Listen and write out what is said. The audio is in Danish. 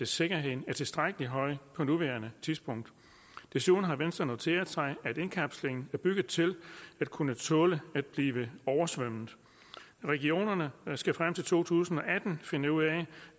sikkerheden er tilstrækkelig høj på nuværende tidspunkt desuden har venstre noteret sig at indkapslingen er bygget til at kunne tåle at blive oversvømmet regionerne skal frem til to tusind og atten finde ud af